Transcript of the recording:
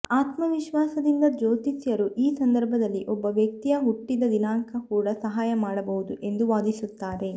ಆತ್ಮವಿಶ್ವಾಸದಿಂದ ಜ್ಯೋತಿಷ್ಯರು ಈ ಸಂದರ್ಭದಲ್ಲಿ ಒಬ್ಬ ವ್ಯಕ್ತಿಯ ಹುಟ್ಟಿದ ದಿನಾಂಕ ಕೂಡ ಸಹಾಯ ಮಾಡಬಹುದು ಎಂದು ವಾದಿಸುತ್ತಾರೆ